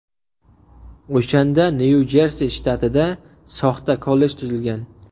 O‘shanda Nyu-Jersi shtatida soxta kollej tuzilgan.